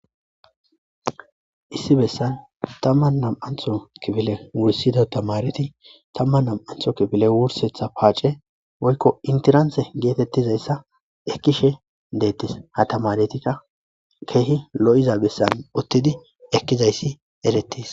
issi bessan tamman nam7antho kibile wursida tamareti tamman nam7antho kibile wursetha paace woykko intiranse geetettizayssa ekkishe deettes ha tamaretikka keehi lo7iza bessan uttidi ekkizayssi eretis